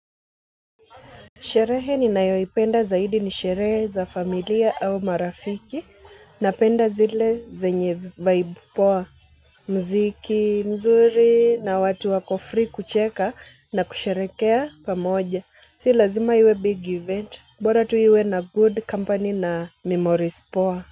Sherehe ninayoipenda zaidi ni sherehe za familia au marafiki, na napenda zile zenye vibe poa. Muziki mzuri na watu wako free kucheka na kusherehekea pamoja. Si lazima iwe big event. Bora tu iwe na good company na memories poa.